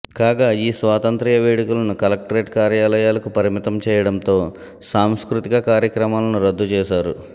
కాగా ఈ స్వాతంత్య్ర వేడుకలను కలెక్టరేట్ కార్యాలయాలకు పరిమితం చేయడంతో సాంస్కృతిక కార్యక్రమాలను రద్దు చేశారు